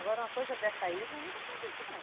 Agora, uma coisa dessa aí, nós nunca tínhamos visto, não.